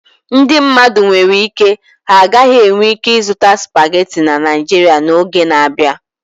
Ndị mmadụ nwere ike ha gaghị enwe ike ịzuta supagetii na Naijiria n'oge na-abịa.